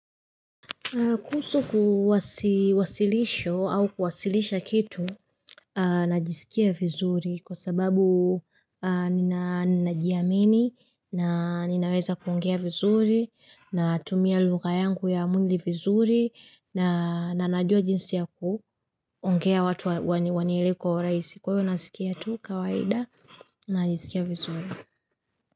Kuhusu kuwasilisho au kuwasilisha kitu najisikia vizuri kwa sababu ninajiamini na ninaweza kuongea vizuri na tumia luka yangu ya mundi vizuri na najua jinsi ya kuongea watu wanielewe kwa urahisi kwa ivo nasikia tu kawaida najisikia vizuri.